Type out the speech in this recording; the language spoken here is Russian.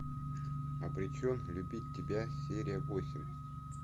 обречен любить тебя серия восемь